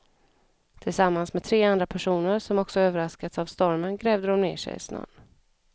Tillsammans med tre andra personer som också överraskats av stormen grävde de ner sig i snön.